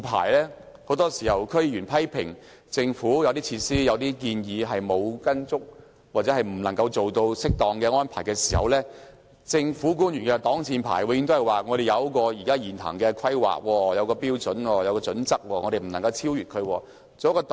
區議員很多時批評政府的一些設施、建議沒有按原來計劃或未能作出適當的安排，政府官員的擋箭牌永遠都是："我們有一個現行的規劃、標準及準則，是不能超越的。